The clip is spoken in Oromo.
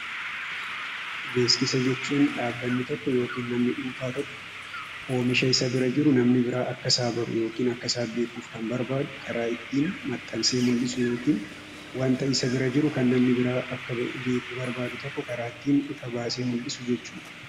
Beeksisa jechuun dhaabbatni tokko yookiin namni dhuunfaa tokko oomisha isa bira jiru namni biraa akka isaaf baru yookiin akka isaaf beeku kan barbaadu, karaa ittiin maxxansa itti mul'isu yookiin waanta isa bira jiru kan namni biraa akka beeku barbaadu tokko karaa ittiin ifa baasee mul'isu jechuudha.